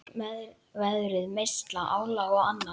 Veðrið, meiðsl, álag og annað.